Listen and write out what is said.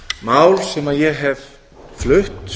mál sem ég hef flutt